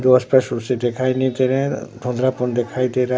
जो स्पष्ट रूप से दिखाई नहीं दे रहें देखाई दे रहा--